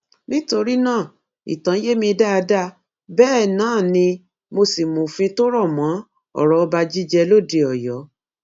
nítorí náà ìtàn yé mi dáadáa bẹẹ náà ni mo sì mọfìn tó rọ mọ ọrọ ọba jíjẹ lóde ọyọ